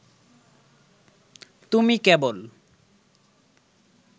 তুমি কেবল